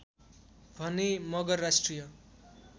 भने मगर राष्ट्रिय